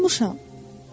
Yuxulanmışam.